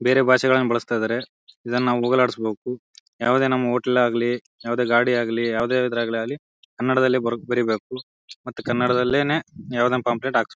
ಬೇರೆ ಬಾಷೆಗಳನ್ನ ಬಳಸ್ತಾಯಿದರೆ ಇದನ್ನ ನಾವು ಹೋಗಲಾಡಿಸಬೇಕು. ಯಾವದೇ ನಮ್ಮ ಹೋಟೆಲ್ ಆಗ್ಲಿ ಯಾವದೇ ಗಾಡಿ ಆಗ್ಲಿಯಾವದೇ ಇದ್ರಲಾಗಲ್ಲಿ ಕನ್ನಡದಲ್ಲಿ ಬರೀಬೇಕು ಮತ್ತೆ ಕನ್ನಡದಲ್ಲೇನೆ ಯಾವದೇ ಪಾಂಫ್ಲೆಟ್ ಹಾಕ್ಸ್--